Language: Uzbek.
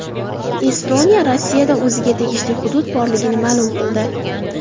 Estoniya Rossiyada o‘ziga tegishli hudud borligini ma’lum qildi.